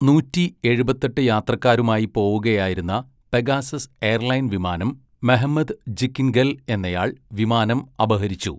നൂറ്റി എഴുപത്തെട്ട് യാത്രക്കാരുമായി പോവുകയായിരുന്ന പെഗാസസ് എയർലൈൻ വിമാനം മെഹ്മെത് ജിക്കിൻഗെൽ എന്നയാൾ വിമാനം അപഹരിച്ചു.